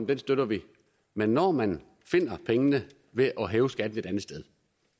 den støtter vi men når man finder pengene ved at hæve skatten et andet sted